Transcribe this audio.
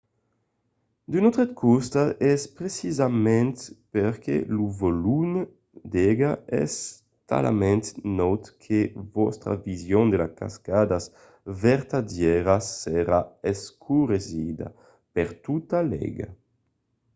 d'un autre costat es precisament perque lo volum d'aiga es talament naut que vòstra vision de las cascadas vertadièras serà escuresida—per tota l'aiga!